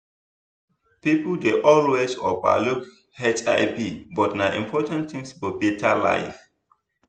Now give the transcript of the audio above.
people dey always over look hivbut na important thing for better life